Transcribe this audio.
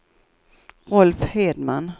Rolf Hedman